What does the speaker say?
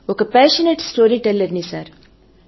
ఒక passionate story teller ని sir